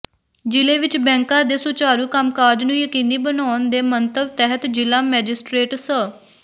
ਜ਼ਿਲੇ ਵਿੱਚ ਬੈਂਕਾਂ ਦੇ ਸੁਚਾਰੂ ਕੰਮਕਾਜ ਨੂੰ ਯਕੀਨੀ ਬਣਾਉਣ ਦੇ ਮੰਤਵ ਤਹਿਤ ਜ਼ਿਲ੍ਹਾ ਮੈਜਿਸਟਰੇਟ ਸ